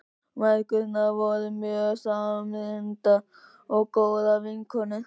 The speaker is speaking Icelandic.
Mæðgurnar voru mjög samrýndar og góðar vinkonur.